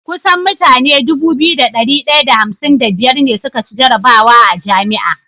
kusan mutane Dubu biyu da dari daya da hamsin da biyar ne suka ci jarabwa a jami'a